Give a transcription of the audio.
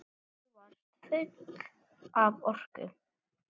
Þú varst full af orku.